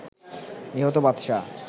নিহত বাদশা